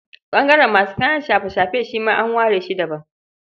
Ɓangaren masu kayan shafe-shafe shi ma an ware shi daban.